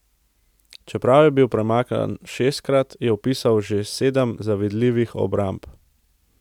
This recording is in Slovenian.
Čeprav je bil premagan šestkrat, je vpisal še sedem zavidljivih obramb.